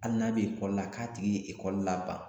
Ali n'a be ekɔli la k'a tigi ye ekɔli laban